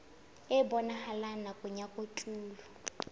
e bonahalang nakong ya kotulo